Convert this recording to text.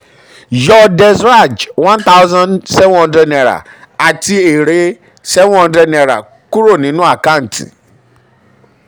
yọ yọ des raj ₦1700 àti èrè um ₦700 kúrò nínú àkántì.